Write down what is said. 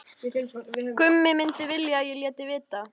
Gummi myndi vilja að ég léti vita.